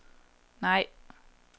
nej